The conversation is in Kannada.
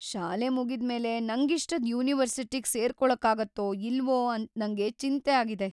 ಶಾಲೆ ಮುಗಿದ್ಮೇಲೆ ನಂಗಿಷ್ಟದ್ ಯೂನಿವರ್ಸಿಟಿಗ್ ಸೇರ್ಕೊಳಕ್ಕಾಗತ್ತೋ ಇಲ್ವೋ ಅಂತ ನಂಗ್ ಚಿಂತೆ ಆಗಿದೆ.